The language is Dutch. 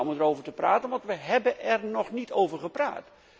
Prima om erover te praten, want we hebben er nog niet over gepraat.